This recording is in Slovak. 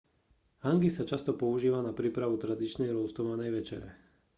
hangi sa často používa na prípravu tradičnej roastovanej večere